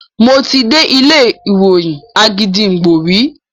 Mo ti dé ilé ìròyìn Àgídìgbo rí.